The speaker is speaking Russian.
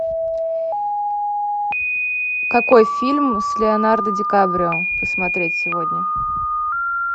какой фильм с леонардо ди каприо посмотреть сегодня